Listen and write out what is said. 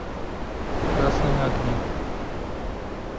красные огни